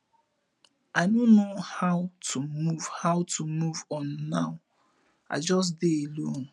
i no know how to move how to move on now i just dey alone